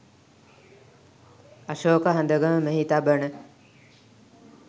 අශෝක හඳගම මෙහි තබන